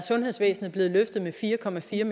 ikke